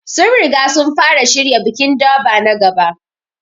Sun riga sun fara shirya bikin Durbar na gaba.